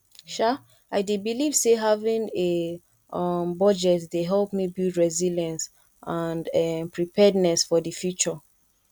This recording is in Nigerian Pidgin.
um i dey believe say having a um budget dey help me build resilience and um preparedness for di future